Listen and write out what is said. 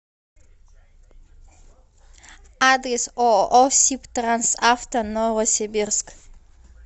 адрес ооо сибтрансавто новосибирск